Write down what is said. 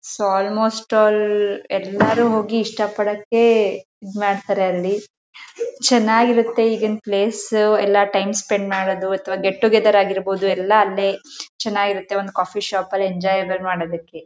So almost all ಎಲ್ಲರೂ ಹೋಗಿ ಇಷ್ಟ ಪಡಕೆ ಇದ ಮಾಡ್ತಾರೆ ಅಲ್ಲಿ ಚೆನ್ನಾಗಿರುತ್ತೆ ಈಗಿನ್ ಪ್ಲೇಸ್ ಎಲ್ಲ ಟೈಮ್ ಸ್ಪೆಂಡ್ ಮಾಡೋದು ಅಥವಾ ಗೆಟ್ಟೋಗೆತೆರ್ ಆಗಿರ್ಬಹುದು. ಎಲ್ಲ ಅಲ್ಲೇ ಚೆನ್ನಾಗಿರುತ್ತೆ ಒಂದ್ ಕಾಫಿ ಶಾಪ್ ಅಲ್ಲೇ ಎಂಜಾಏಬಾಲ್ ಮಾಡೋದಕ್ಕೆ.